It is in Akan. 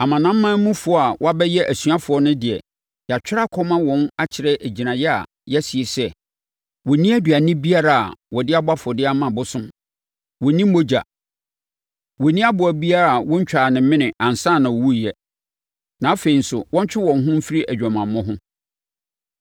Amanamanmufoɔ a wɔabɛyɛ asuafoɔ no de, yɛatwerɛ akɔma wɔn akyerɛ gyinaeɛ a yɛasi sɛ, wɔnnni aduane biara a wɔde abɔ afɔdeɛ ama abosom; wɔnnni mogya; wɔnnni aboa biara a wɔantwa ne mene ansa na ɔwuiɛ; na afei nso, wɔntwe wɔn ho mfiri adwamammɔ ho.”